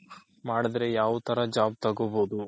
ಮಾಡ್ದ್ರೆ ಯಾವ್ ತರ job ತಗೋಬೋದು